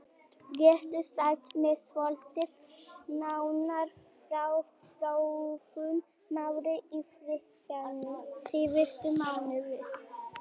Geturðu sagt mér svolítið nánar frá þróun mála í fyrirtækinu síðustu mánuði?